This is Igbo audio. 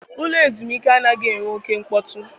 Ụlọ ezumike anaghị enwe oke mkpọtụ.